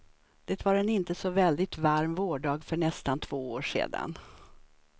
Det var en inte så väldigt varm vårdag för nästan två år sedan.